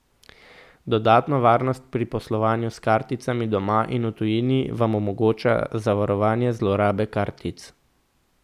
Dodatno varnost pri poslovanju s karticami doma in v tujini vam omogoča zavarovanje zlorabe kartic.